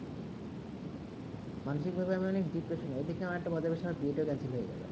মানসিক ব্যহাবে আমি অনেক depression এ ঐই দিকে আমার বদবেশ আমার বিয়ে তা cancel হয়ে গেলো